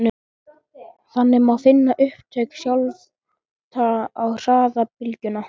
Þannig má finna upptök skjálfta og hraða bylgnanna.